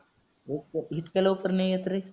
लवकर इतक्या लवकर नाही येत रे.